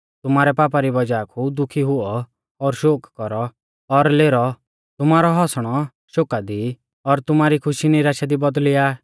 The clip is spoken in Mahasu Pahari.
तुमारै पापा री वज़ाहा कु दुखी हुऔ और शोक कौरौ और लेरौ तुमारौ हंसणौ शोका दी और तुमारी खुशी निराशा दी बौदल़िया